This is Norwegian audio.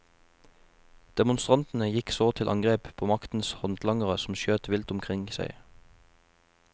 Demonstrantene gikk så til angrep på maktens håndtlangere, som skjøt vilt omkring seg.